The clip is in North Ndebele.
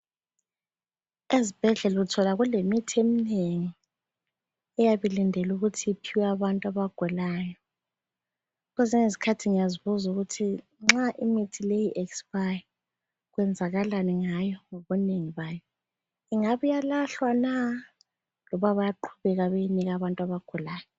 Ezibhedlela uthola kulemithi eminengi eyabilindele ukuthi iphiwe abantu abagulayo. Kwezinye izikhathi ngiyazibuza ukuthi nxa imithi leyi i-expire kwenzakalani ngayo ngobunengi bayo. Ingabe iyalahlwa na loba bayaqhubeka beyinika abantu abagulayo?